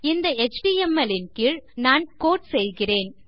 இந்த எச்டிஎம்எல் ன் கீழ் நான் கோட் செய்கிறேன்